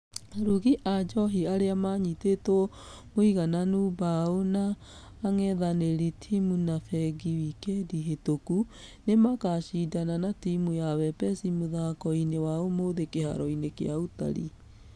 Arugi a njohi arĩa manyitĩtwo mũigananu bao na angethanĩriao timũ ya fengi wĩkendi hĩtũku. Nĩmakashidana na timũ ya wepesi mũthako-inĩ wa ũmũthĩ kĩharo gĩa utalii.